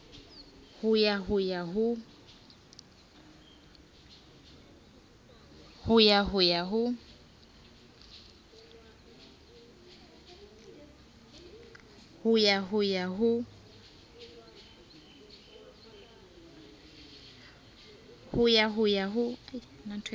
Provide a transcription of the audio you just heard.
ho ya ho ya ho